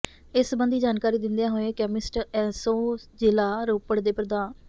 ਇਸ ਸੰਬਧੀ ਜਾਣਕਾਰੀ ਦਿੰਦਿਆਂ ਹੋਏ ਕੈਮਿਸਟ ਐਸੋਂ ਜ਼ਿਲ੍ਹਾ ਰੋਪੜ ਦੇ ਪ੍ਰ